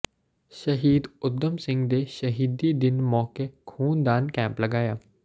ਸ਼ਹੀਦ ਊਧਮ ਸਿੰਘ ਦੇ ਸ਼ਹੀਦੀ ਦਿਨ ਮੌਕੇ ਖ਼ੂਨਦਾਨ ਕੈਂਪ ਲਗਾਇਆ